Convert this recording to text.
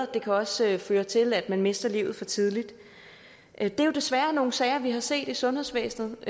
det kan også føre til at man mister livet for tidligt det er jo desværre nogle sager vi har set i sundhedsvæsenet